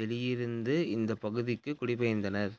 வெளியே இருந்த இந்தப் பகுதிக்குக் குடிபெயர்ந்தனர்